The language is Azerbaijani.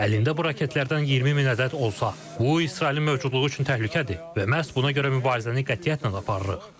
Əlində bu raketlərdən 20 min ədəd olsa, bu İsrailin mövcudluğu üçün təhlükədir və məhz buna görə mübarizəni qətiyyətlə aparırıq.